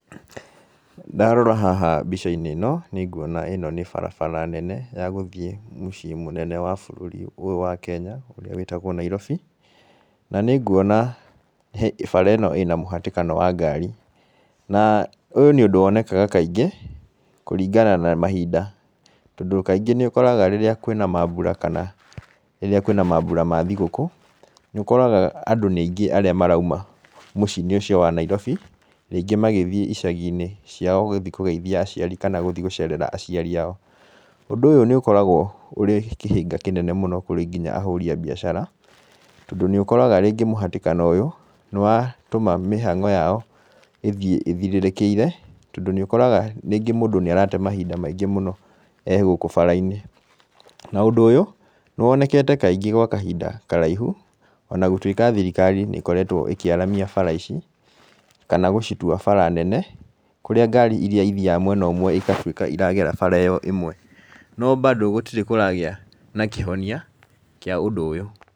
Ndarora haha mbica-inĩ ĩno, nĩ nguona ĩno nĩ barabara nene ya gũthiĩ mũciĩ mũnene wa bũrũri ũyũ wa Kenya, ũrĩa wĩtagwo Nairobi. Na nĩ nguona bara ĩno ĩna mũhatĩkano wa ngari. Na ũyũ nĩ ũndũ wonekaga kaingĩ, kũringana na mahinda. Tondũ kaingĩ nĩ ũkoraga rĩrĩa kwĩna maambura kana rĩrĩa kwĩna maambura ma thigũkũ, nĩ ũkoraga andũ nĩ aingĩ arĩa marauma mũciĩ-inĩ ũcio wa Nairobi. Rĩngĩ magĩthiĩ icagi-inĩ ciao gũthi kũgeithia aciari, kana gũthi gũcerera aciaro ao. Ũndũ ũyũ nĩ ũkoragwo ũrĩ kĩhĩnga kĩnene mũno kũrĩ nginya ahũri a biacara, tondũ nĩ ũkoraga rĩngĩ mũhatĩkano ũyũ, nĩ watũma mĩhang'o yao ĩthiĩ ĩthirĩrĩkĩire, tondũ nĩ ũkoraga rĩngĩ mũndũ nĩ arate mahinda maingĩ mũno egũkũ bara-inĩ. Na ũndũ ũyũ, nĩ wonekete kaingĩ gwa kahinda karaihu, ona gũtuĩka thirikari nĩ ĩkoretwo ĩkĩaramia bara ici, kana gũcitua bara nene, kũrĩa ngari irĩa ithiaga mwena ũmwe igatuĩka iragera ĩyo ĩmwe. No bado gũtirĩ kũragĩa na kĩhonia, kĩa ũndũ ũyũ.